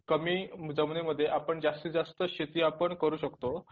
कमी जमीनीमध्ये आपण जास्ती जास्त शेती आपण करूं शकतो.